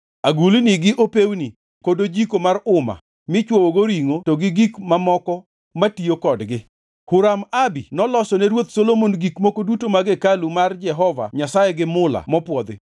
agulni gi opewni kod ojiko mar uma michwoyogo ringʼo to gi gik mamoko matiyo kodgi. Huram-Abi noloso ne Ruoth Solomon gik moko duto mag hekalu mar Jehova Nyasaye gi mula mopwodhi.